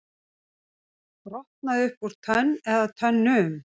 Brotnaði upp úr tönn eða tönnum